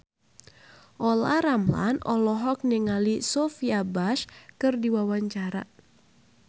Olla Ramlan olohok ningali Sophia Bush keur diwawancara